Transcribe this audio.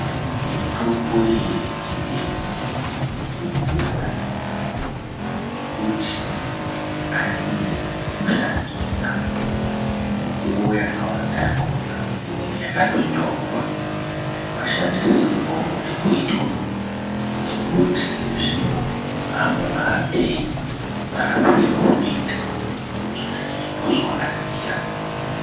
Mutombo iyeyechingezi mutombo yakanaka, nekuti hayinesi kushandisa mukuwo yakawanda yakona inenge yakatonyorwa mashandisirwo aunode kuitwa nekuti zvino hamba mahambereni marapiro aunoita zvinhu izvozvo ndozvawakanakira.